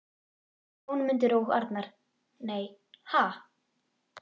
Jónmundur og Arnar: Nei, ha??